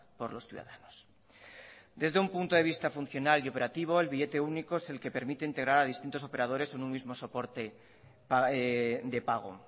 por los ciudadanos desde un punto de vista funcional y operativo el billete único es el que permite integrar a distintos operadores en un mismo soporte de pago